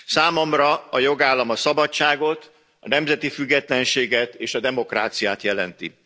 Számomra a jogállam a szabadságot, a nemzeti függetlenséget és a demokráciát jelenti.